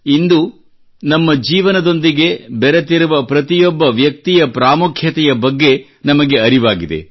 ಇಂದು ನಮ್ಮ ಜೀವನದೊಂದಿಗೆ ಬೆರೆತಿರುವ ಪ್ರತಿಯೊಬ್ಬ ವ್ಯಕ್ತಿಯ ಪ್ರಾಮುಖ್ಯತೆಯ ಬಗ್ಗೆ ನಮಗೆ ಅರಿವಾಗಿದೆ